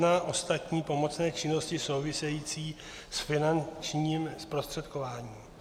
N591 - ostatní pomocné činnosti související s finančním zprostředkováním.